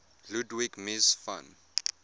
ludwig mies van